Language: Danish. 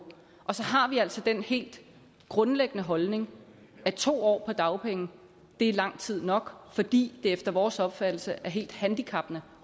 og så har vi altså den helt grundlæggende holdning at to år på dagpenge er lang tid nok fordi det efter vores opfattelse er helt handicappende